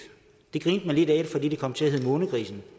det grinte man lidt af fordi det kom til at hedde månegrisen